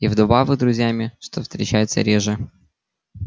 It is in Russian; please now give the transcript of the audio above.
и вдобавок друзьями что встречается реже